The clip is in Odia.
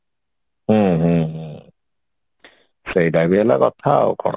ହୁଁ ହୁଁ ହୁଁ ସେଇଟା ତ ହେଲା କଥା